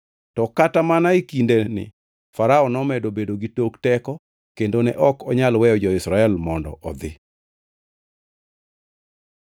To kata mana e kindeni Farao nomedo bedo gi tok teko kendo ne ok onyal weyo jo-Israel mondo odhi.